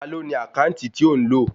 Ta ló ní àkáǹtì tí o ń lò?